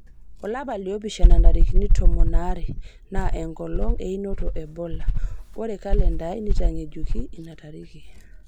olapa li opishana ntarikini tomon aare na enkolong einoto e bola ore kalenda aai neitangejuki ina tariki